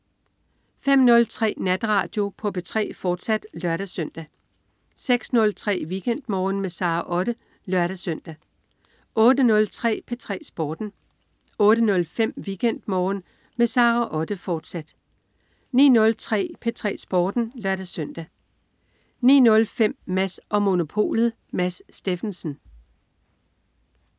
05.03 Natradio på P3, fortsat (lør-søn) 06.03 WeekendMorgen med Sara Otte (lør-søn) 08.03 P3 Sporten 08.05 WeekendMorgen med Sara Otte, fortsat 09.03 P3 Sporten (lør-søn) 09.05 Mads & Monopolet. Mads Steffensen